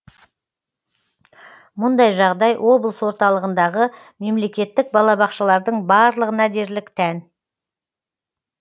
мұндай жағдай облыс орталығындағы мемлекеттік балабақшалардың барлығына дерлік тән